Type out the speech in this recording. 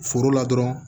Foro la dɔrɔn